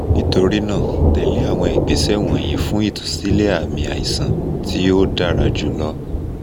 nitorinaa tẹle awọn igbesẹ wọnyi fun itusilẹ aami aisan ti o dara julọ